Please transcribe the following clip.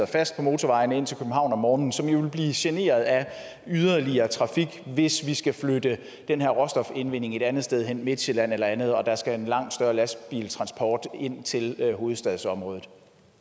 fast på motorvejene ind til københavn om morgenen som jo vil blive generet af yderligere trafik hvis vi skal flytte den her råstofindvinding et andet sted hen til midtsjælland eller andet når der skal en langt større lastbiltransport ind til hovedstadsområdet